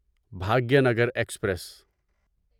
Bhagyanagar express